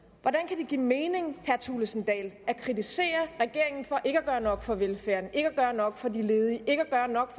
give mening vil jeg thulesen dahl at kritisere regeringen for ikke at gøre nok for velfærden ikke at gøre nok for de ledige ikke at gøre nok